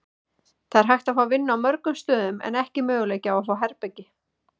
Það er hægt að fá vinnu á mörgum stöðum en ekki möguleiki að fá herbergi.